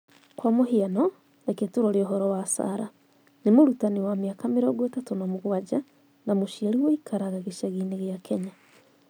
Kwa mũhiano, reke tũrore ũhoro wa Sarah: Nĩ mũrutani wa mĩaka 37 na mũciari ũikaraga gĩcagi-inĩ kĩa Kenya.